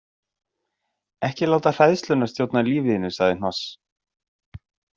Ekki láta hræðsluna stjórna lífi þínu, sagði Hnoss.